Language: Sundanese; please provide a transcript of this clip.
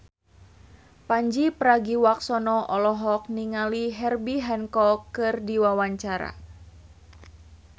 Pandji Pragiwaksono olohok ningali Herbie Hancock keur diwawancara